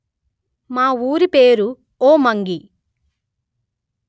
మా ఊరి పేరు ఒమ్మంగి